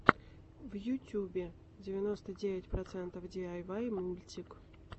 в ютюбе девяносто девять процентов диайвай мультик